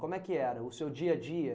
Como é que era o seu dia a dia?